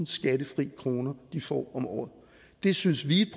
skattefri kroner de får om året det synes vi